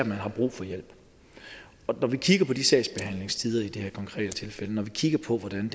man har brug for hjælp når vi kigger på de sagsbehandlingstider i det her konkrete tilfælde og når vi kigger på hvordan